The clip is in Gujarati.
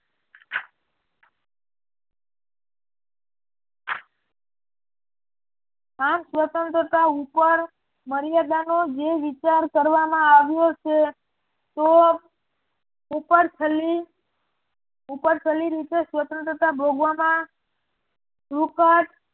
આમ સ્વતંત્રતા ઉપર મર્યાદાનો જીવ વિચાર કરવામાં આવ્યો છે તો ઉપરછલ્લી રીતે સ્વતંત્રતા ભોગવામાં